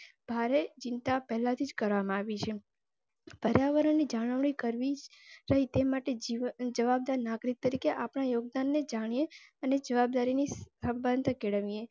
ભારે ચિંતા પેહલા થી જ કરવ માં આવી છે. પર્યાવરણ જડાળવી કરવી તે માટે જવાબદાર નાગરિક તરીકે આપના યોગદાનને જાણે અને જવાબદારી ની